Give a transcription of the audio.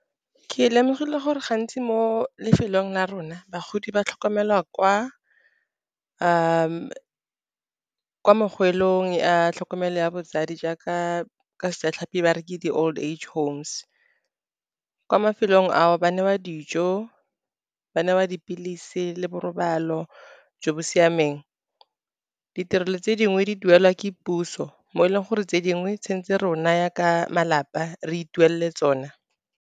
Ke lemogile gore gantsi mo lefelong la rona bagodi ba tlhokomelwa kwa mogwelong a tlhokomelo ya botsadi jaaka ka Sejatlhapi ba re ke di-old age homes. Kwa mafelong ao, ba newa dijo, ba newa dipilisi le borobalo jo bo siameng. Ditirelo tse dingwe di duelwa ke puso, mo e leng gore tse dingwe tshwentse rona ya ka malapa re ituwelele tsona.